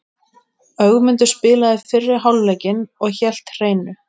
Ögmundur spilaði fyrri hálfleikinn og hélt hreinu.